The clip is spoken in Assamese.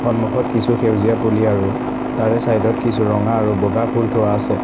সন্মুখত কিছু সেউজীয়া পুলি আৰু তাৰে চাইড ত কিছু ৰঙা আৰু বগা ফুল থোৱা আছে।